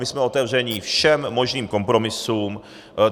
My jsme otevřeni všem možným kompromisům.